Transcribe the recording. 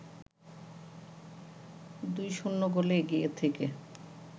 ২-০ গোলে এগিয়ে থেকে